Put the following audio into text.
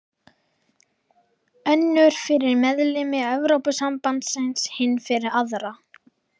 Önnur fyrir meðlimi Evrópusambandsins, hin fyrir aðra.